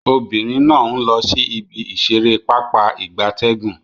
Obinrin na n lo si ibi isere papa igabtegun